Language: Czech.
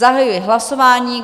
Zahajuji hlasování.